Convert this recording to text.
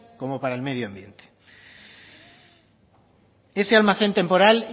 como para el medio ambiente ese almacén temporal